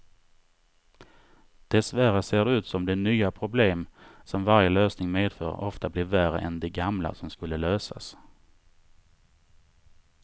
Dessvärre ser det ut som de nya problem som varje lösning medför ofta blir värre än de gamla som skulle lösas.